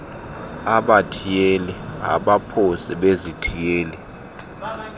abathiyeli abaphosi bezithiyelo